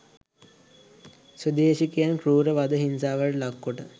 ස්වදේශිකයින් කෲර වද හිංසාවලට ලක් කොට